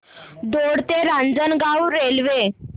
दौंड ते रांजणगाव रेल्वे